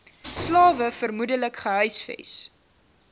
slawe vermoedelik gehuisves